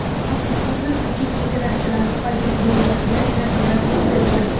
Qabristonda tojik chegarachilari paydo bo‘lganda janjal yuz bergan.